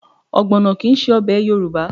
Ọgbọ̀nọ kì í ṣe ọbẹ̀ Yorùbá